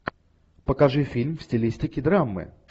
покажи фильм в стилистике драмы